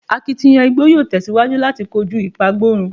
Akitiyan igbo yoo tẹsiwaju lati koju ipagborun